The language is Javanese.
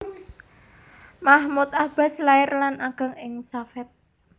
Mahmoud Abbas lair lan ageng ing Safet